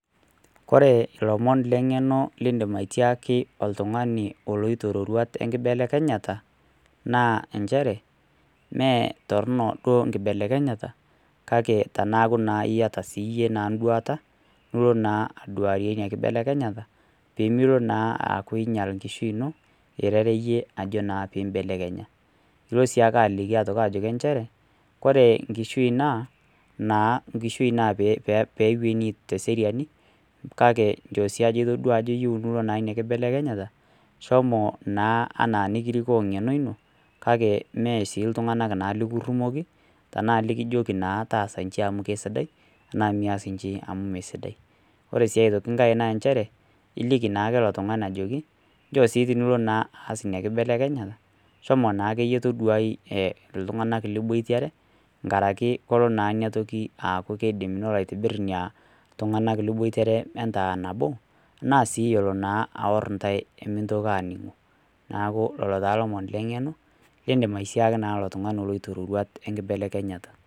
Kore leng'eno lindim atiaki oltung'ani oloito iroruat enkibelekenyata, naa nchere, mee torono duo enkibelekenyata, kake teneaku naa iyata siiyie enduata nilo naa aduarie ina kibelekenyata, pemelo naa aku einyal enlkishui ino, irereyie naa ajo pee imbelekenya, ilo sii ake aliki nchere, kore enkishui naa enkishui naa peewuenii teseriani, kake njoo duo siiyie ajo itodua ina kibelekenyata, shomo naa anaa enekirikoo eng'eno ino, kake mee sii iltung'ana lekirumoki, tnaa naa kijoki taasa nji amu naa kesidai, anaa meias inji amu mee sidai. Kore sii aitoki enkai naa nchere, iliki naake ilo tung'ani ajoki, njoo naa tenilo sii aas ina kibelekenyata, shomo naake iyie toduai naa iltung'ana liboitare, aaku naa kelo naa ina toki nelo aitibir naa ilop tung'ana liboitare entaa nabo, anaa sii elo naa aor intai naa emintokiki aaning'o. Neaku naa lelo naa ilomon leng'eno, liindim naa atiaki oltung'ani oloito ilomon lenkiroruata.